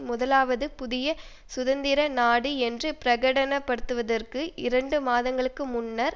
முதலாவது புதிய சுதந்திர நாடு என்று பிரகடனப்படுத்துவதற்கு இரண்டு மாதங்களுக்கு முன்னர்